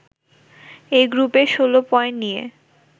এ গ্রুপে ১৬ পয়েন্ট নিয়ে